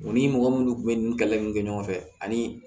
U ni mɔgɔ minnu kun bɛ ni kɛlɛ minnu kɛ ɲɔgɔn fɛ ani